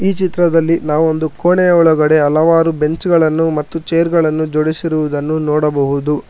ಈ ಚಿತ್ರದಲ್ಲಿ ನಾವ್ ಒಂದು ಕೋಣೆಯ ಒಳಗಡೆ ಹಲವಾರು ಬೆಂಚ್ ಗಳನ್ನು ಮತ್ತು ಚೇರ್ ಗಳನ್ನು ಜೋಡಿಸಿರುವುದನ್ನು ನೋಡಬಹುದು.